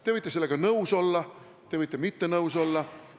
Te võite sellega nõus olla, te võite mitte nõus olla.